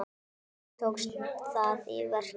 Hvernig tókst það í verki?